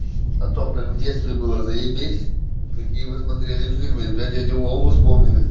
о том как в детстве была заебись какие вы смотрели фильмы про дядю вову вспомнили